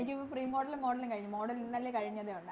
എനിക്ക് Pre model ഉം Model ഉം കഴിഞ്ഞു Model ഇന്നലെ കഴിഞ്ഞതെ ഒള്ളാരുന്നു